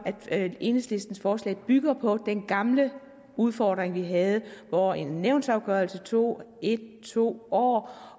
at enhedslistens forslag bygger på den gamle udfordring vi havde hvor en nævnsafgørelse tog en to år